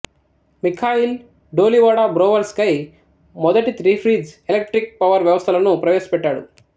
Mikhail Dolivo Dobrovolsky మొదటి three phase electric power వ్యవస్థలను ప్రవేశపెట్టారు